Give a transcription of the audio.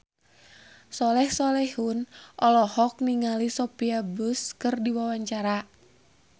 Soleh Solihun olohok ningali Sophia Bush keur diwawancara